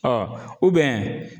Ɔ